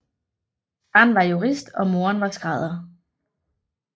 Faren var jurist og moren var skrædder